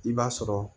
I b'a sɔrɔ